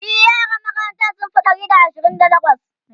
e yaran makarantan sun Fi Ɗari da Ashirin da takwas